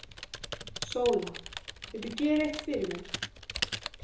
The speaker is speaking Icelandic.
SÓLA: Viltu gera eitt fyrir mig?